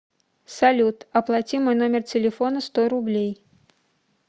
салют оплати мой номер телефона сто рублей